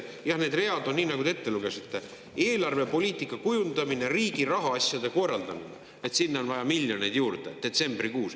Jah, need read on nii, nagu te ette lugesite: eelarvepoliitika kujundamine, riigi rahaasjade korraldamine – sinna on vaja miljoneid juurde detsembrikuus.